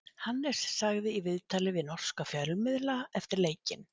Hannes sagði í viðtali við norska fjölmiðla eftir leikinn: